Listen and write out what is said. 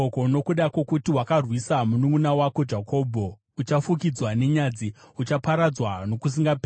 Nokuda kwokuti wakarwisa mununʼuna wako Jakobho, uchafukidzwa nenyadzi; uchaparadzwa nokusingaperi.